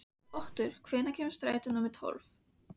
Otur, hvenær kemur strætó númer tólf?